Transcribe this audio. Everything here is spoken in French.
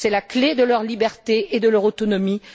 C'est la clé de leur liberté et de leur autonomie.